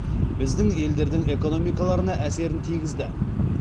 біздің елдердің экономикаларына әсерін тигізді